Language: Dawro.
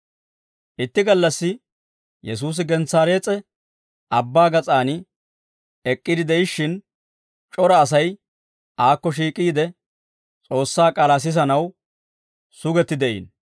Itti gallassi Yesuusi Gensaarees'e Abbaa gas'aan ek'k'iide de'ishshin c'ora Asay aakko shiik'iide S'oossaa k'aalaa sisanaw sugetti de'iino.